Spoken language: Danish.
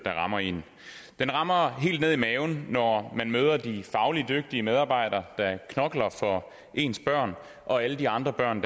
rammer en den rammer helt nede i maven når man møder de fagligt dygtige medarbejdere der knokler for ens børn og alle de andre børn